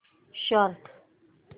start